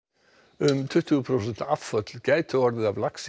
um tuttugu prósent afföll gætu orðið af laxi